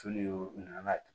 Tulu u nana